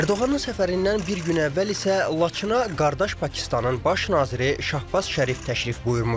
Ərdoğanın səfərindən bir gün əvvəl isə Laçına qardaş Pakistanın baş naziri Şahbaz Şərif təşrif buyurmuşdu.